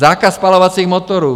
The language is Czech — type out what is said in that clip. Zákaz spalovacích motorů.